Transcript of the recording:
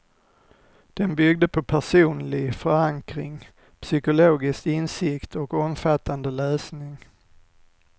Den byggde på personlig förankring, psykologisk insikt och omfattande läsning.